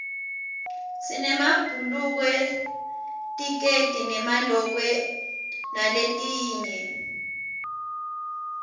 sinemabhulukwe tikedi nemalokwe naletinye